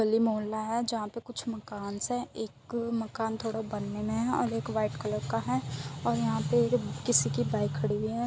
गली मोहल्ला है जहा पे कुछ मकान है। एक मकान थोड़ा बनने मे है और एक व्हाइट कलर का है और यहा पे किसी की बाइक खड़ी हुई है।